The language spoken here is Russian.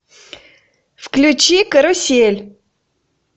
включи карусель